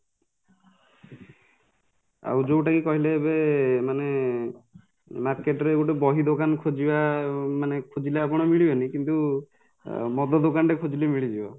ଆଉ ଯୋଉଟାକି କହିଲେ ଏବେ ମାନେ marketରେ ଗୋଟେ ବହି ଦୋକାନ ଖୋଜିବା ମାନେ ଖୋଜିଲେ ଆପଣ ମିଳିବନି କିନ୍ତୁ ଅଂ ମଦ ଦୋକାନ ଖୋଜିଲେ ମିଳିଯିବ